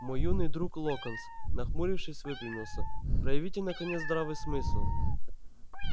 мой юный друг локонс нахмурившись выпрямился проявите наконец здравый смысл